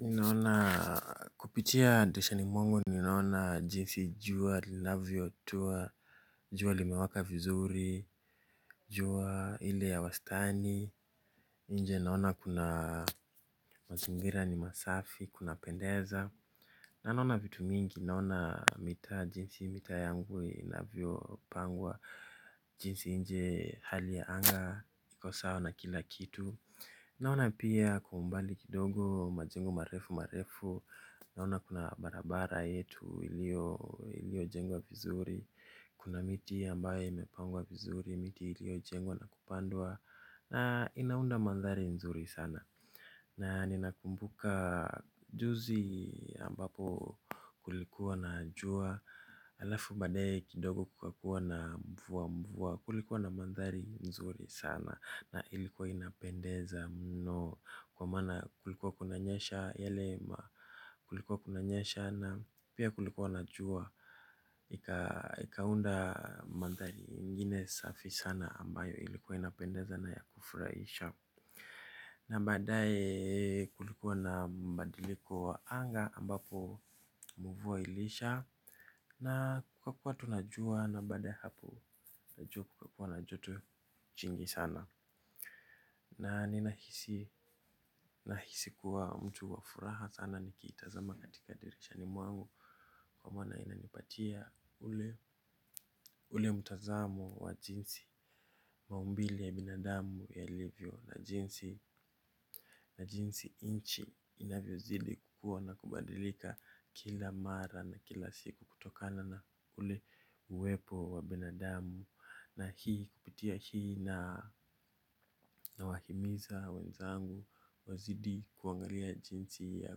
Inaona kupitia dirishani mwangu ninaona jinsi jua, linavio tua, jua limewaka vizuri, jua ile ya wastani, inje naona kuna mazingira ni masafi, kuna pendeza. Na naona vitu mingi naona mita jinsi mita yangu inavyo pangwa jinsi inje hali ya anga iko sawa na kila kitu. Naona pia kwa umbali kidogo majengo marefu marefu naona kuna barabara yetu ilio jengwa vizuri. Kuna miti ambaye imepangwa vizuri miti ilio jengwa na kupandwa na inaunda mandhari nzuri sana. Na nina kumbuka juzi ambapo kulikuwa na jua. Alafu baadaye kidogo kukakuwa na mvua mvua. Kulikuwa na mandhari nzuri sana. Na ilikuwa inapendeza mno kwa mana kulikuwa kuna nyesha. Yale ma kulikuwa kuna nyesha na pia kulikuwa na jua. Ikaunda mandhari ingine safi sana ambayo ilikuwa inapendeza na ya kufraisha. Na mbadae kulikuwa na mbadiliko wa anga ambapo mvua ilisha. Na kukakua tu na jua na basda ya hapo. Na jua kukakua na joto jingi sana. Na ninahisi kuwa mtu wafuraha sana nikitazama katika dirishani mwangu. Kwa maana inanipatia ule mtazamo wa jinsi maumbile ya binadamu yalivyo na jinsi na jisi nchi inavyo kuwa na kubadilika kila mara na kila siku kutokana na ule uwepo wa binadamu. Na hii kupitia hii na wahimiza wenzangu wazidi kuangalia jinsi ya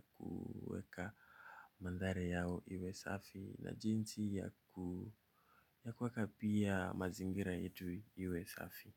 kuweka mandhari yao iwe safi. Na jinsi ya kuweka pia mazingira yetu iwe safi.